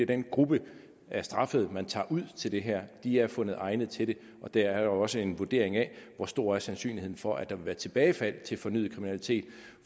den gruppe af straffede man tager ud til det her de er fundet egnede til det og der er jo også en vurdering af hvor stor sandsynligheden er for at der vil være tilbagefald til fornyet kriminalitet